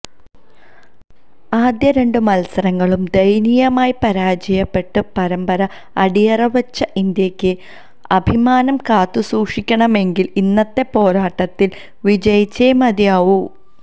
ആദ്യ രണ്ട് മത്സരങ്ങളും ദയനീയമായി പരാജയപ്പെട്ട് പരമ്പര അടിയറവെച്ച ഇന്ത്യക്ക് അഭിമാനം കാത്തുസൂക്ഷിക്കണമെങ്കില് ഇന്നത്തെ പോരാട്ടത്തില് വിജയിച്ചേ മതിയാവൂ